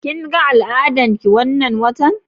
Kin ga al'adar ki wannan watan?